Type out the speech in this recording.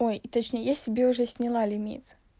ой точнее я себе уже сняла лимит